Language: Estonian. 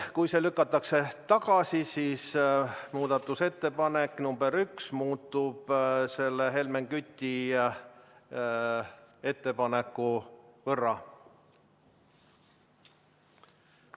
Kui see lükatakse tagasi, siis muudatusettepanek nr 1 muutub Helmen Küti ettepaneku võrra.